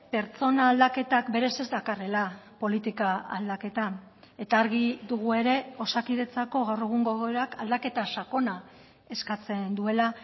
pertsona aldaketak berez ez dakarrela politika aldaketa eta argi dugu ere osakidetzako gaur egungo egoerak aldaketa sakona eskatzen duela